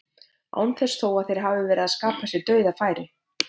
Án þess þó að þeir hafi verið að skapa sér dauðafæri.